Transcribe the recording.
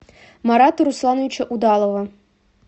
марата руслановича удалова